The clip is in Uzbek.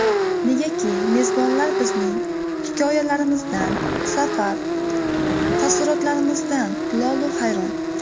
Negaki, mezbonlar bizning hikoyalarimizdan, safar taassurotlarimizdan lolu-hayron.